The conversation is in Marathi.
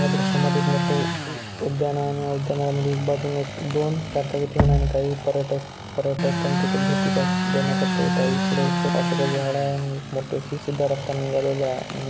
या दृश्य मध्ये मोठो उद्यान आहे. आणि या उद्यानामध्ये बाजूला एक दोन चार चाकी ठेवले आणि काही पर्यटक पर्यटक स्थान तेथे भेटदेण्या करिता येत आहे. इकडे अशोकाचे झाड आहे आणि एक मोठीशी अशी सिदा रस्ता निघालेला आहे. आणि --